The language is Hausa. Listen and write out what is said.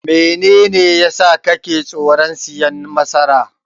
Menene yasa kake tsoron siyan masara?